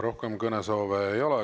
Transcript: Rohkem kõnesoove ei ole.